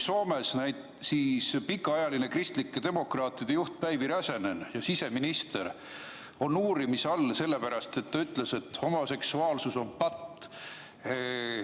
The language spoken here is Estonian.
Soomes on pikaajaline kristlike demokraatide juht Päivi Räsänen, endine siseminister, uurimise all, sest ta ütles, et homoseksuaalsus on patt.